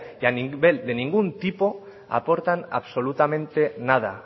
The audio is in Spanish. y a nivel de ningún tipo aportan absolutamente nada